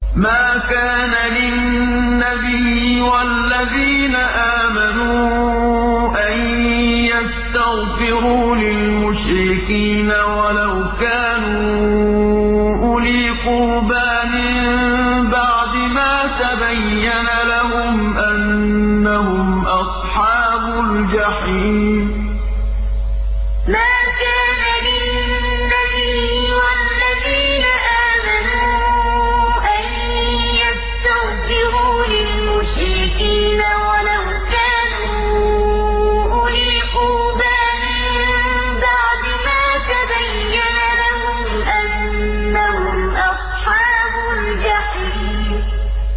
مَا كَانَ لِلنَّبِيِّ وَالَّذِينَ آمَنُوا أَن يَسْتَغْفِرُوا لِلْمُشْرِكِينَ وَلَوْ كَانُوا أُولِي قُرْبَىٰ مِن بَعْدِ مَا تَبَيَّنَ لَهُمْ أَنَّهُمْ أَصْحَابُ الْجَحِيمِ مَا كَانَ لِلنَّبِيِّ وَالَّذِينَ آمَنُوا أَن يَسْتَغْفِرُوا لِلْمُشْرِكِينَ وَلَوْ كَانُوا أُولِي قُرْبَىٰ مِن بَعْدِ مَا تَبَيَّنَ لَهُمْ أَنَّهُمْ أَصْحَابُ الْجَحِيمِ